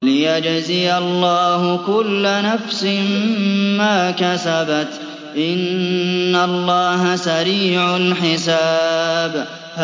لِيَجْزِيَ اللَّهُ كُلَّ نَفْسٍ مَّا كَسَبَتْ ۚ إِنَّ اللَّهَ سَرِيعُ الْحِسَابِ